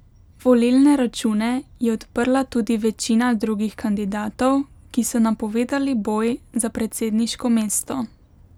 Volilne račune je odprla tudi večina drugih kandidatov, ki so napovedali boj za predsedniško mesto.